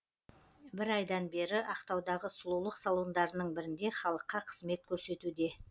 бір айдан бері ақтаудағы сұлулық салондарының бірінде халыққа қызмет көрсетуде